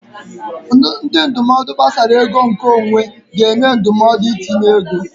Ndị ndụmọdụ gbasara ego nke onwe ga-enye ndụmọdụ itinye ego.